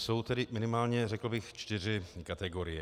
Jsou tedy minimálně řekl bych čtyři kategorie.